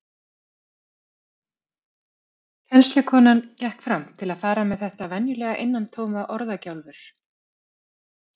Kennslukonan gekk fram til að fara með þetta venjulega innantóma orðagjálfur.